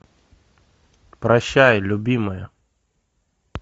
прощай любимая